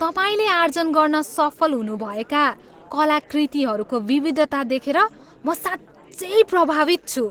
तपाईँले आर्जन गर्न सफल हुनुभएका कलाकृतिहरूको विविधता देखेर म साँच्चै प्रभावित छु।